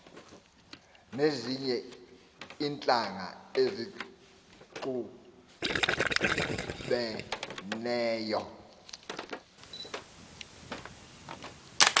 nezinye iintlanga ezixubeneyo